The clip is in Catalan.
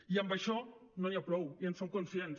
i amb això no n’hi ha prou i en som conscients